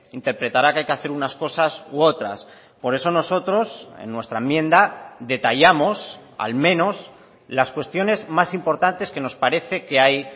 interpretará que hay que hacer unas cosas u otras por eso nosotros en nuestra enmienda detallamos al menos las cuestiones más importantes que nos parece que hay